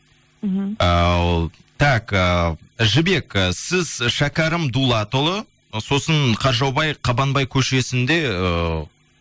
мхм ііі так ііі жібек і сіз шәкәрім дулатұлы сосын қаршаубай қабанбай көшесінде ыыы